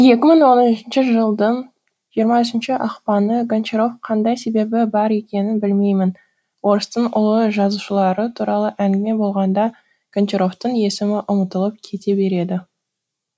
екі мың он үшінші жылдың жиырма үшінші ақпаны гончаров қандай себебі бар екенін білмеймін орыстың ұлы жазушылары туралы әңгіме болғанда гончаровтың есімі ұмытылып кете береді